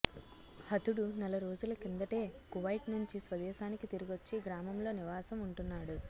హతుడు నెల రోజుల కిందటే కువైట్నుంచి స్వదేశానికి తిరిగొచ్చి గ్రామంలో నివాసం ఉంటున్నాడు